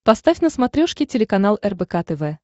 поставь на смотрешке телеканал рбк тв